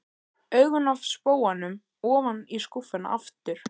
Augun af spóanum ofan í skúffuna aftur.